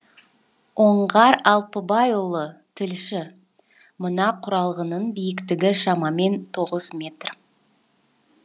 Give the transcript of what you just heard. оңғар алпыбайұлы тілші мына құрылғының биіктігі шамамен тоғыз метр